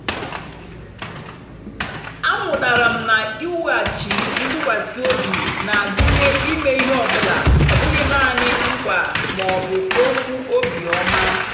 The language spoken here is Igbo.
amụtara m na iwughachi ntụkwasị obi na-agụnye ime ihe ọ bụla ọ bụghị nanị nkwa ma ọ bụ okwu obiọma.